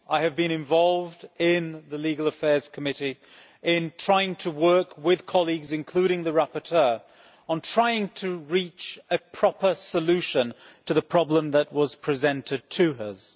I have been involved in the Legal Affairs Committee in trying to work with colleagues, including the rapporteur, on trying to reach a proper solution to the problem that was presented to us.